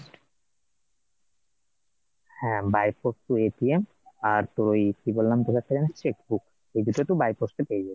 হ্যাঁ by post তুই আর তুই কি বললাম, তোকে একটা জানি cheque book এই দুটো তুই by post এ পেয়ে যাবি